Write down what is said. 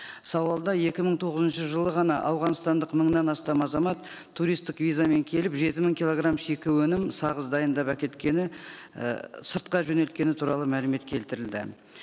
сауалда екі мың тоғызыншы жылы ғана ауғанстандық мыңнан астам азамат туристік визамен келіп жеті мың килограмм шикі өнім сағыз дайындап әкеткені і сыртқа жөнелткені туралы мәлімет келтірілді